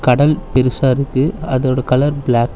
கடல் பெருசா இருக்கு அதோட கலர் பிளா--